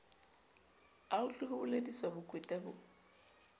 autlwe ho bolediswa bokweta bo